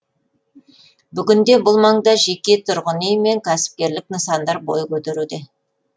бүгінде бұл маңда жеке тұрғын үй мен кәсіпкерлік нысандар бой көтеруде